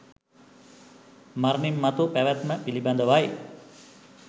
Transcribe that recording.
මරණින් මතු පැවැත්ම පිළිබඳවයි